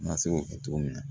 Na se k'o kɛ cogo min na